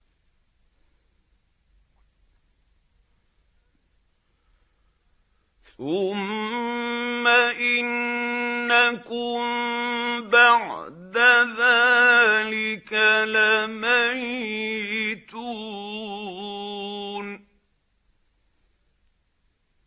ثُمَّ إِنَّكُم بَعْدَ ذَٰلِكَ لَمَيِّتُونَ